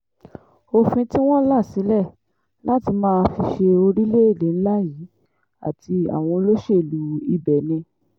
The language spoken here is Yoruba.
òfin tí wọ́n là sílẹ̀ láti máa fi ṣe orílẹ̀-èdè ńlá yìí àti àwọn olóṣèlú ibẹ̀ ni